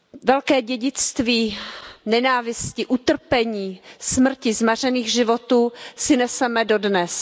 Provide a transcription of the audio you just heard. Velké dědictví nenávisti, utrpení, smrti, zmařených životů si neseme dodnes.